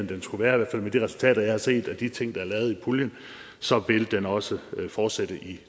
den skulle være med de resultater jeg har set og med de ting der er lavet i puljen så vil den også fortsætte i